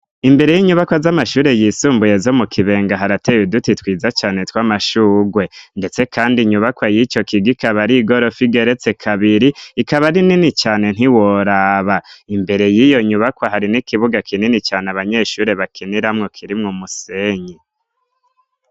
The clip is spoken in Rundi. imbere y'inyubaka z'amashure y'isumbuye zo mu kibenga harateye uduti twiza cane tw'amashugwe ndetse kandi nyubakwa y'ico kigo ikaba ari gorofa igeretse kabiri ikaba ari nini cane ntiworaba imbere y'iyo nyubakwa hari n'ikibuga kinini cane abanyeshure bakiniramwo kirimwe musenyi